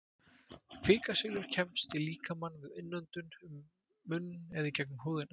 Kvikasilfur kemst í líkamann við innöndun, um munn eða í gegnum húðina.